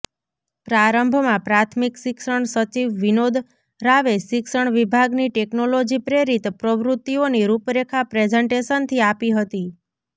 પ્રારંભમાં પ્રાથમિક શિક્ષણ સચિવ વિનોદ રાવે શિક્ષણ વિભાગની ટેકનોલોજી પ્રેરિત પ્રવૃત્તિઓની રૂપરેખા પ્રેઝન્ટેશનથી આપી હતી